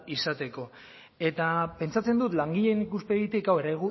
izateko eta pentsatzen dut langileen ikuspegitik hau